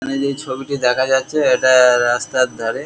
এখানে যে ছবিটি দেখা যাচ্ছে এটা-আ-আ রাস্তার ধারে--